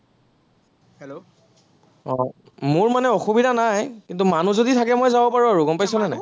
আহ মোৰ মানে অসুবিধা নাই, কিন্তু মানুহ যদি থাকে মই যাব পাৰিম আৰু, গম পাইছনে নাই?